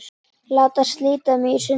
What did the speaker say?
Láta slíta mig í sundur.